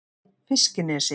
Fiskinesi